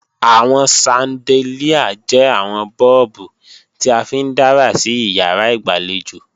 Àwọn ṣandelíà jẹ́ àwọn bọ́ọ̀bù tí a fi ń dára sí ìyàrá ìgbàlejò